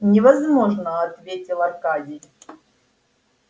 невозможно ответил аркадий